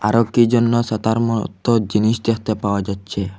ও কি জন্য ছাতার মতো জিনিস দেখতে পাওয়া যাচ্ছে।